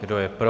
Kdo je pro?